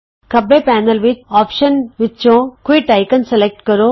ਖੱਬੇ ਪੈਨਲ ਵਿਚ ਵਿਕਲਪ ਸੂਚੀ ਵਿਚੋਂ ਕੁਇਟ ਨਿਸ਼ਾਨ ਸਲੈਕਟ ਕਰੋ